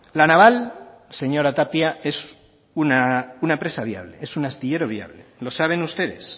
la naval señora tapia es una empresa viable es una astillero viable lo saben ustedes